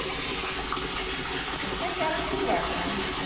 Eu sei que eram diversas, né?